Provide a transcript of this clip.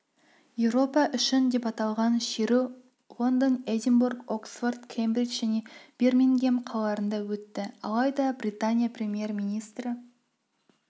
еуропа үшін деп аталған шеру лондон эдинбург оксфорд кембридж және бирмингем қалаларында өтті алайда британия премьер-министрі